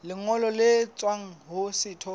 lengolo le tswang ho setho